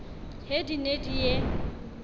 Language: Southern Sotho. he di ne di ye